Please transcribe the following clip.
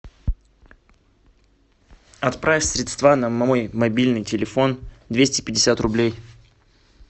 отправь средства на мой мобильный телефон двести пятьдесят рублей